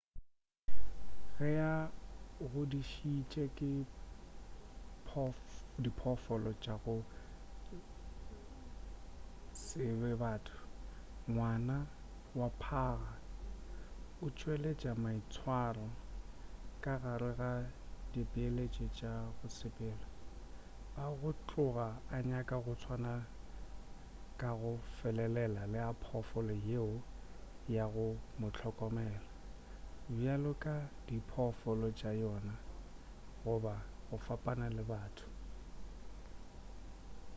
ge a godišitše ke diphoofolo tša go se be batho ngwana wa phaga o tšweletša maitswaro ka gare ga dipeeletšo tša go sepela a go tloga a nyaka go tswana ka go felelela le a phoofolo yeo ya go mohlokomela bjalo ka dipoifo tša yona goba go fapana le batho